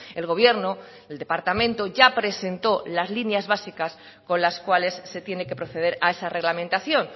el gobierno el departamento ya presentó las líneas básicas con las cuales se tiene que proceder a esa reglamentación